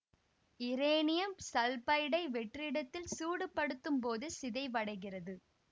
இரேனியம் சல்பைடை வெற்றிடத்தில் சூடுபடுத்தும் போது சிதைவடைகிறது